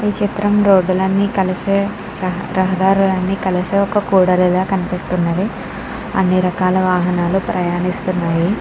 ఈ చిత్రం రోడ్ లు అన్ని కలిసే రహదారులన్నీ కలిసే ఒక కూడలి లా కనిపిస్తున్నది. అన్ని రకాల వాహనాలు ప్రయనిస్తున్నవి.